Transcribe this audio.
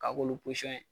K'a k'olu